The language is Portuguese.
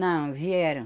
Não, vieram.